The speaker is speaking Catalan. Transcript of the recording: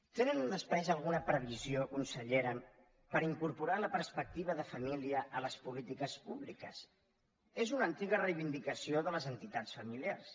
tenen després alguna previsió consellera per incorporar la perspectiva de família a les polítiques públiques és una antiga reivindicació de les entitats familiars